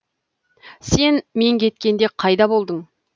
сен мен кеткенде қайда болдың